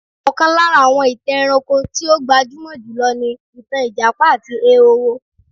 Ọ̀kan lára àwọn ìtàn ẹranko tí ó gbajúmọ̀ jùlọ ni ìtàn ijapa àti ehoro.